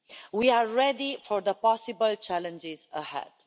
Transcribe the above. We are ready for the possible challenges ahead.